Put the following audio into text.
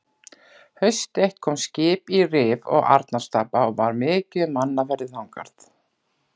Haust eitt kom skip í Rif og Arnarstapa og var mikið um mannaferðir þangað.